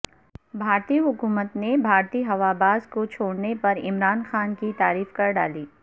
بھارتی حکومت نے بھارتی ہواباز کو چھوڑنے پر عمران خان کی تعریف کر ڈالی